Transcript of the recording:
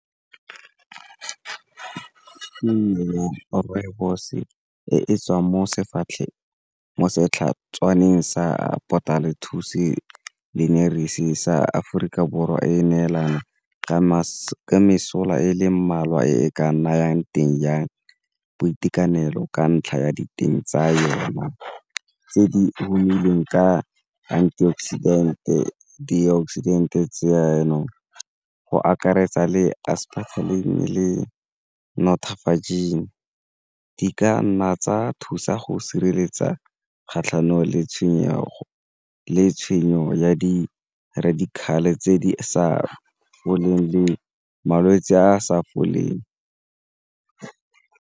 ya rooibos e e tswang mo setlhatswaneng sa sa Aforika Borwa e neelana ka mesola e leng mmalwa e ka nayang teng jang boitekanelo ka ntlha ya diteng tsa yone tse di humanegileng ka antioxidant-e le di-oxidant-e tse jaanong go akaretsa le le nnotaging ka nna tsa thusa go sireletsa kgatlhanong le tshwenyego le tshenyo ya di tse di sa foleng le malwetse a sa foleng.